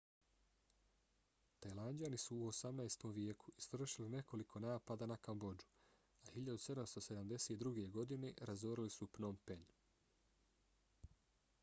tajlanđani su u 18. vijeku izvršili nekoliko napada na kambodžu a 1772. godine razorili su pnom phen